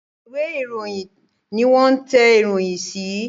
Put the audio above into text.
Ìwé-ìròyìn ní wón tẹ̀ ìròyìn sí